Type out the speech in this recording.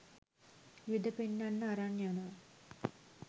යුද පෙන්නන්න අරන් යනවා